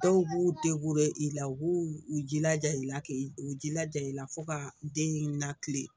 Dɔw b'u i la u b'u u jilaja i la k'i u jilaja i la fo ka den natilen